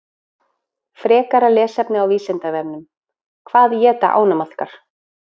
Frekara lesefni á Vísindavefnum: Hvað éta ánamaðkar?